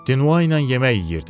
Dinua ilə yemək yeyirdim.